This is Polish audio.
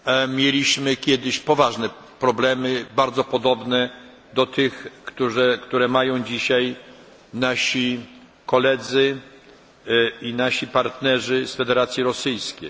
Mieliśmy kiedyś poważne problemy, bardzo podobne do tych, które mają dzisiaj nasi koledzy i nasi partnerzy z Federacji Rosyjskiej.